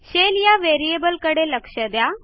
Shellया variableकडे लक्ष द्या